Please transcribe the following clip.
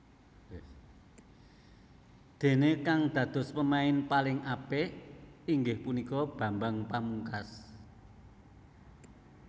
Déné kang dados pemain paling apik inggih punika Bambang Pamungkas